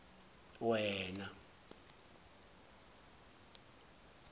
wena